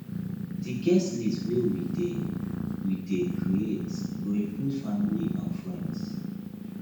di guest list wey we dey we dey create go include family and friends